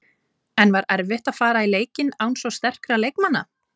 En var erfitt að fara í leikinn án svo sterkra leikmanna?